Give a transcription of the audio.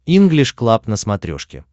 инглиш клаб на смотрешке